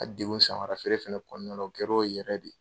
N ka dekun samara feere fɛnɛ kɔnɔna la,o kɛr'o yɛrɛ de ye.